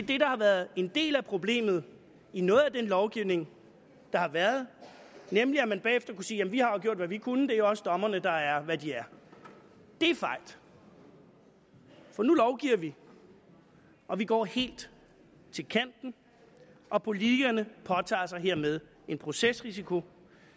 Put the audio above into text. det der har været en del af problemet i noget af den lovgivning der har været nemlig at man bagefter kunne sige jamen vi har jo gjort hvad vi kunne og det er også dommerne der er hvad de er det er fejt for nu lovgiver vi og vi går helt til kanten og politikerne påtager sig hermed en procesrisiko